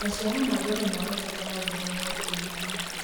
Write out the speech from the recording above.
maciaro ma mbembe irabatara mbura ya kũigana